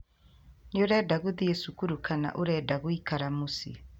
Nĩ ũrenda gũthiĩ cukuru kana ũrenda gũikara mũciĩ